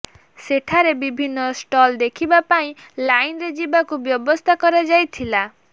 ସେଠାରେ ବିଭିନ୍ନ ଷ୍ଟଲ୍ ଦେଖିବା ପାଇଁ ଲାଇନରେ ଯିବାକୁ ବ୍ୟବସ୍ଥା କରାଯାଇଥିଲା